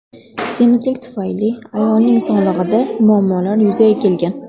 Semizlik tufayli ayolning sog‘lig‘ida muammolar yuzaga kelgan.